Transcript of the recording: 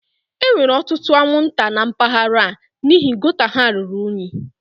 E nwere ọtụtụ anwụnta na mpaghara a n'ihi gota ha ruru unyi